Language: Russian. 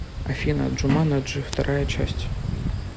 афина джуманаджи вторая часть